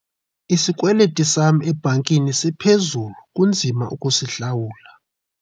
Isikweliti sam ebhankini siphezulu kunzima ukusihlawula.